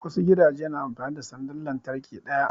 Wasu gidajen na amfani da sandar lantarki ɗaya